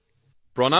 মহোদয় প্ৰণাম